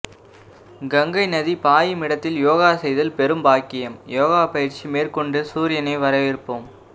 கங்கை நதி பாயும் இடத்தில் யோகா செய்தல் பெரும் பாக்கியம் யோகா பயிற்சி மேற்கொண்டு சூரியனை வரவேற்போம்